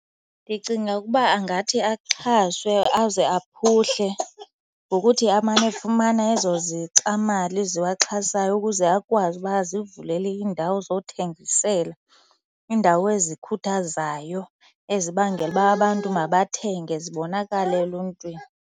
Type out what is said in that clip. Ndicinga ukuba angathi axhaswe aze aphuhle ngokuthi amane efumana ezo zixamali ziwaxhasayo ukuze akwazi uba azivulele indawo zothengisela, iindawo ezikhuthazayo ezibangela uba abantu mabathenge zibonakale eluntwini.